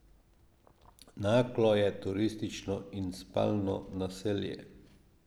Naklo je turistično in spalno naselje.